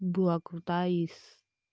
была крутая из